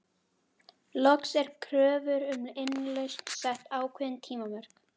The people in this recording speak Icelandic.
Loks er kröfu um innlausn sett ákveðin tímamörk.